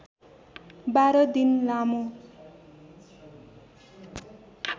१२ दिन लामो